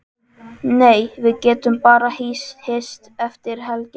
Nei, við getum bara hist eftir helgina.